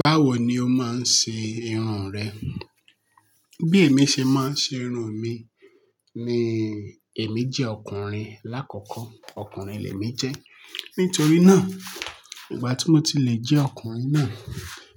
Báwo ni o máa ń ṣe irun rẹ? Bí èmi ṣe máa ń ṣe irun mi ni èmi jẹ́ ọkùnrin. Lákọ̀ọ̀kọ́ ọkùnrin lẹ mí jẹ́. Nítorí náà, ìgbà tí mo ti lè jẹ́ ọkùnrin náà